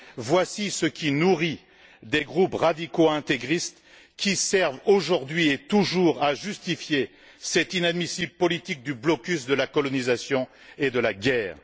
Volà ce qui nourrit des groupes radicaux intégristes qui servent, aujourd'hui et toujours, à justifier cette inadmissible politique du blocus de la colonisation et de la guerre.